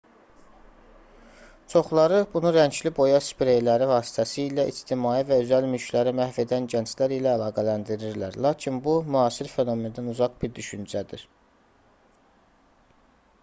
çoxları bunu rəngli boya spreyləri vasitəsilə ictimai və özəl mülkləri məhv edən gənclər ilə əlaqələndirirlər lakin bu müasir fenomendən uzaq bir düşüncədir